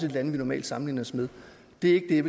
lande vi normalt sammenligner os med det er